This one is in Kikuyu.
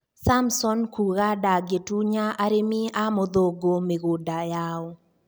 samson kuga Ndangĩtunya arimi a mũthũngũ mĩgũnda yao.